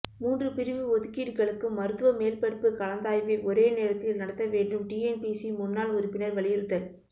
மூன்று பிரிவு ஒதுக்கீடுகளுக்கும் மருத்துவ மேல் படிப்பு கலந்தாய்வை ஒரே நேரத்தில் நடத்த வேண்டும் டிஎன்பிஎஸ்சி முன்னாள் உறுப்பினர் வலியுறுத்தல்